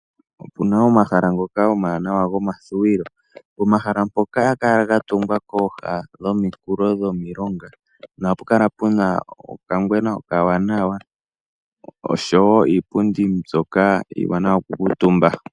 Otuna omahala ngoka omawanawa goku vululukwa. Omahala ngaka ohaga kala ga tungwa kooha dhomikulo dhomilonga, ohapu kala puna okangwena okawanawa, osho wo iipundi mbyoka iiwanawa noku kuutumba.